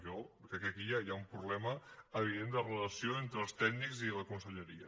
jo crec que aquí hi ha un problema evident de relació entre els tècnics i la conselleria